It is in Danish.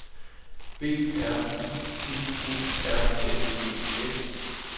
B R I T E R N E S